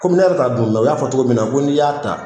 Kɔmi ne yɛrɛ t'a mɛ o y'a fɔ togo minna ko n'i y'a ta